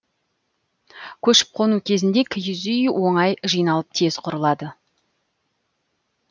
көшіп қону кезінде киіз үй оңай жиналып тез құрылады